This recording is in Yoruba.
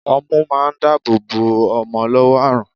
Ọmú ma ń dáàbò bò ọmọ lọ́wọ́ àrùn.